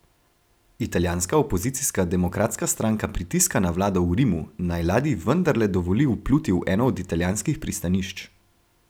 Italijanska opozicijska Demokratska stranka pritiska na vlado v Rimu, naj ladji vendarle dovoli vpluti v eno od italijanskih pristanišč.